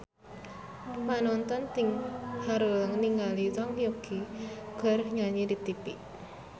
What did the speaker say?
Panonton ting haruleng ningali Zhang Yuqi keur nyanyi di tipi